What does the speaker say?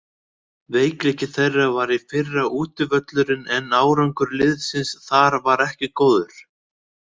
Veikleiki þeirra var í fyrra útivöllurinn en árangur liðsins þar var ekki góður.